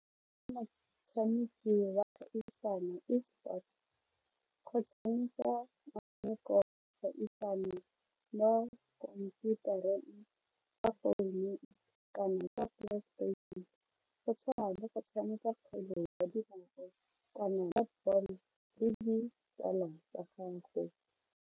Ke wa kgaisano esports go tshameka metshameko mo khomphutareng, ka founu kana ka playstation go tshwana le go tshameka kgwele ya dinao kana netball le ditsala ya gago.